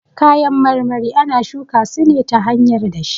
Kayan marmari ana shuka su ne ta hanyar dashe